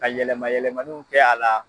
Ka yɛlɛma yɛlɛmaniw kɛ a la.